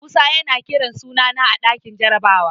Musa yana kiran sunana a ɗakin jarabawa.